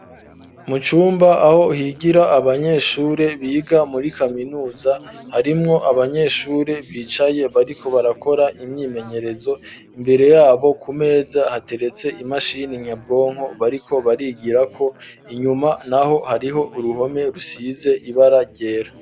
Mu cumba aho higira abanyeshure biga muri kaminuza harimwo abanyeshure bicaye bariko barakora imyimenyerezo imbere yabo ku meza hateretse imashini nyabwonko bariko barigirako inyuma naho hariho uruhome rusize ibara ryera.